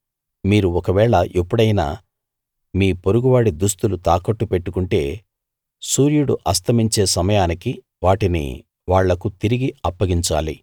మీరు ఒకవేళ ఎప్పుడైనా మీ పొరుగువాడి దుస్తులు తాకట్టు పెట్టుకుంటే సూర్యుడు అస్తమించే సమయానికి వాటిని వాళ్లకు తిరిగి అప్పగించాలి